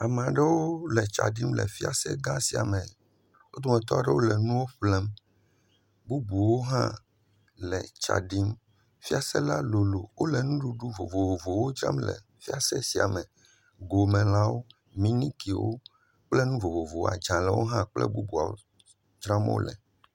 Ame aɖewo le tsa ɖim le fiase gã sia me, wo dometɔ aɖewo hã le nuwo ƒlem, bubuawo hã le tsa ɖim. Fiase la lolo, wole nuɖuɖu vovovowo dzram le fiase sia me, gomelãwo, minikiwo, kple nu vovovowo, adzalewo hã kple bubuawo dzram wole.